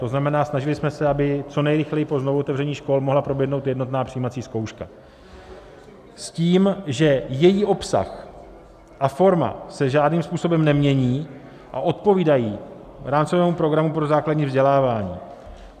To znamená, snažili jsme se, aby co nejrychleji po znovuotevření škol mohla proběhnout jednotná přijímací zkouška s tím, že její obsah a forma se žádným způsobem nemění a odpovídají rámcovému programu pro základní vzdělávání.